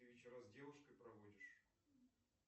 ты вечера с девушкой проводишь